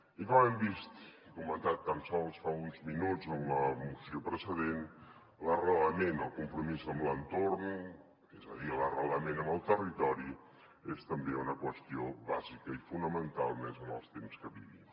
i com hem vist i comentat tan sols fa uns minuts en la moció precedent l’arrelament el compromís amb l’entorn és a dir l’arrelament en el territori és també una qüestió bàsica i fonamental més en els temps que vivim